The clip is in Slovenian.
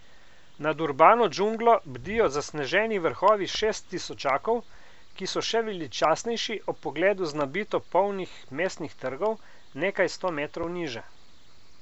Nad urbano džunglo bdijo zasneženi vrhovi šesttisočakov, ki so še veličastnejši ob pogledu z nabito polnih mestnih trgov nekaj sto metrov niže.